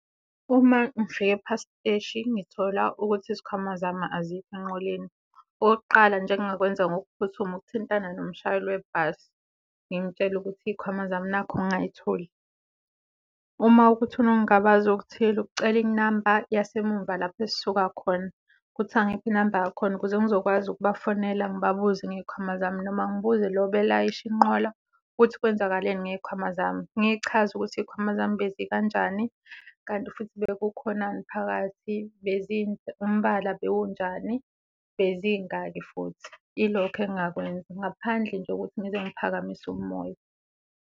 Uma ngifika e-Park Steshi ngithola ukuthi izikhwama zami azikho enqoleni, okokuqala nje engingakwenza ngokuphuthuma ukuthintana nomshayeli webhasi ngimtshele ukuthi iy'khwama zami nakhu ngingay'tholi. Uma wukuthi unokungabaza okuthile, ukucela inamba yasemuva lapho esisuka khona ukuthi angiphe inamba yakhona ukuze ngizokwazi ukubafonela ngibabuze ngey'khwama zami, noma ngibuze lo obelayisha inqola ukuthi kwenzakaleni ngey'khwama zami. Ngiy'chaze ukuthi iy'khwama zami bezi kanjani, kanti futhi bekukhonani phakathi, umbala bewunjani, bezingaki futhi. Ilokho engingakwenza ngaphandle nje ukuthi ngize ngiphakamise umoya.